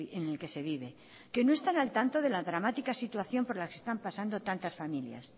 en el que se vive que no están al tanto de la dramática situación por la que están pasando tantas familias